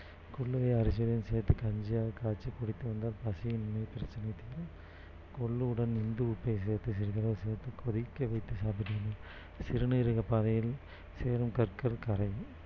கொள்ளுவை அரிசியுடன் சேர்த்து கஞ்சியாக காய்ச்சி குடித்து வந்தால் பசியின்மை பிரச்சனை தீரும் கொள்ளுடன் இந்து உப்பை சேர்த்து சிறிதளவு சேர்த்து கொதிக்க வைத்து சாப்பிட்டு வந்தால் சிறுநீரக பாதையில் சேரும் கற்கள் கரையும்